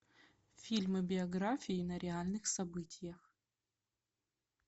фильмы биографии на реальных событиях